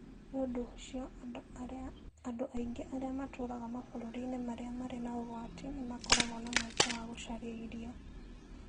Nĩ ũndũ ũcio, andũ aingĩ arĩa matũũraga mabũrũri-inĩ marĩa marĩ na ũgwati, nĩ makoragwo na mweke wa gũcaria irio.